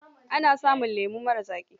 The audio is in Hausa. Ana samun lemo marar zaƙi.